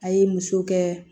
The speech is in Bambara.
A ye muso kɛ